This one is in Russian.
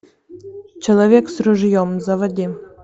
человек с ружьем заводи